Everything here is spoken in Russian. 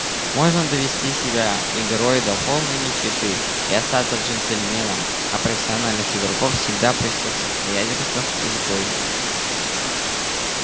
можно довести себя игрой до полной нищеты и остаться джентльменом а профессиональных игрок всегда при всех обстоятельствах изгой